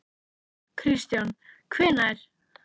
Kristján: Hvenær?